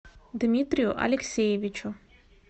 дмитрию алексеевичу